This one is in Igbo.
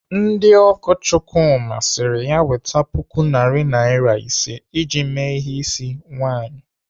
Ndị ọgọ Chukwuma siri ya weta puku narị naira ise iji mee ihe ịsị nwaanyị.